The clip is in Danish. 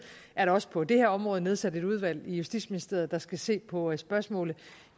er der også på det her område nedsat et udvalg i justitsministeriet der skal se på spørgsmålet og